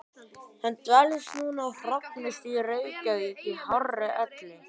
Hann dvelst nú á Hrafnistu í Reykjavík í hárri elli.